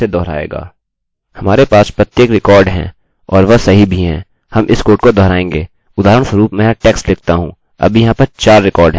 उदाहरणस्वरुप मैं यहाँ text लिखता हूँ अभी यहाँ पर 4 रिकार्डअभिलेख हैं